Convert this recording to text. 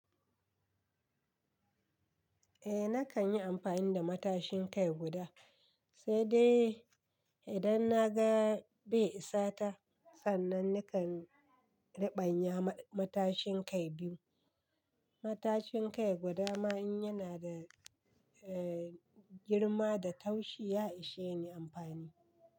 Eh nakan yi amfani da matashin kai guda, sai dai idan na ga bai isa ta, sannan nakan riɓanya matashin kai biyu. Matashin kai guda ma in yana da girma da taushi ya ishe ni amfani.